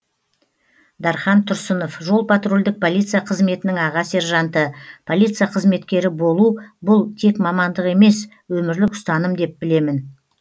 дархан тұрсынов жол патрульдік полиция қызметінің аға сержанты полиция қызметкері болу бұл тек мамандық емес өмірлік ұстаным деп білемін